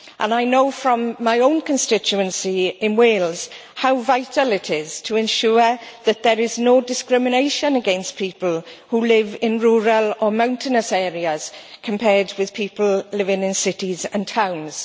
I know from my own constituency in Wales how vital it is to ensure that there is no discrimination against people who live in rural or mountainous areas compared with people living in cities and towns.